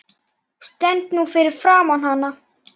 Stend nú fyrir framan hana.